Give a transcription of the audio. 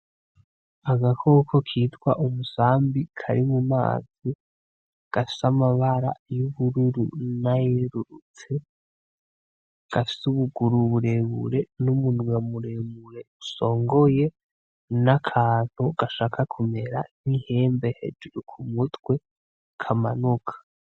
Agakoko kitwa umusambi kari mumazi gafise amabara yubururu nayerurutse gafise ubuguru burebure n'umunwa muremure usongoye, n'akantu gashaka kumera nkihembe hejuru kumutwe kamanuka.